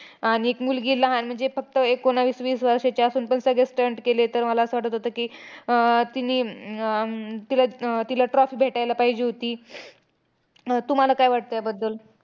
आणि एक मुलगी लहान म्हणजे फक्त एकोणवीस-वीस वर्षांची असेल. पण सगळे stunt केले. पण मला असं वाटतं होतं की, आह तिनी अं तिला अह तिला trophy भेटायला पाहिजे होती. तुम्हाला काय वाटतं त्याबद्दल?